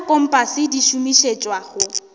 tša kompase di šomišetšwa go